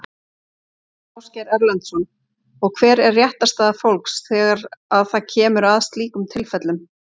Ásgeir Erlendsson: Og hver er réttarstaða fólks þegar að það kemur að slíkum tilfellum?